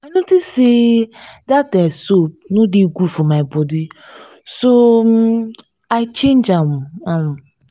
i notice say dat um soap no dey good for my body so um i change am am